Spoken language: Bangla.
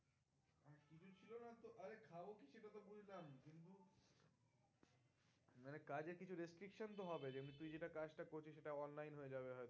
মানে কাজের কিছু restriction তো হবেই তুই যেটা কাজটা করছিস সেটা online হয়ে যাবে হয় তো